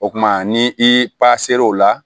O kumana ni i pa ser'o la